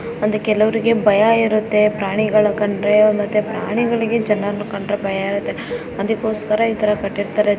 ಒಂದು ಕೆಲವರಿಗೆ ಭಯ ಇರುತ್ತೆ ಪ್ರಾಣಿಗಳನ್ನು ಕಂಡ್ರೆ ಮತ್ತೆ ಪ್ರಾಣಿಗಳಿಗೆ ಜನರನ್ನು ಕಂಡ್ರೆ ಭಯ ಇರುತ್ತೆ ಅದಕ್ಕೋಸ್ಕರ ಇತರಹ ಕೆಟ್ಟಿರ್ತಾರೆ.